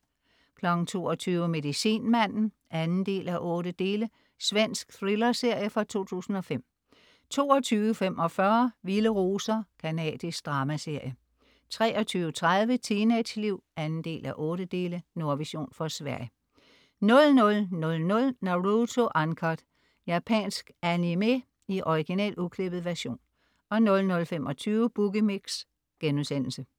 22.00 Medicinmanden 2:8. Svensk thrillerserie fra 2005 22.45 Vilde roser. Canadisk dramaserie 23.30 Teenageliv 2:8. Nordvision fra Sverige 00.00 Naruto Uncut. Japansk animé i original, uklippet version 00.25 Boogie Mix*